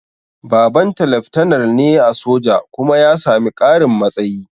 Babanta leftanar ne a soja kuma ya sami ƙarin matsayi